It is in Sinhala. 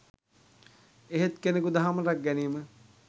එහෙත් කෙනෙකු දහම රැක ගැනීම